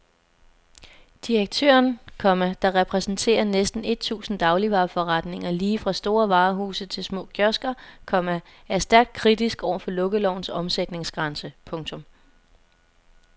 Direktøren, komma der repræsenterer næsten et tusind dagligvareforretninger lige fra store varehuse til små kiosker, komma er stærkt kritisk over for lukkelovens omsætningsgrænse. punktum